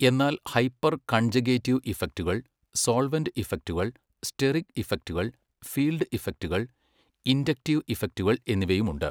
എന്നാൽ hyper conjugative ഇഫക്റ്റുകൾ, solvent ഇഫക്റ്റുകൾ, സ്റ്റെറിക് ഇഫക്റ്റുകൾ, ഫീൽഡ് ഇഫക്റ്റുകൾ, ഇൻഡക്റ്റീവ് ഇഫക്റ്റുകൾ എന്നിവയുമുണ്ട്.